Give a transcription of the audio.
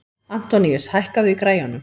Antoníus, hækkaðu í græjunum.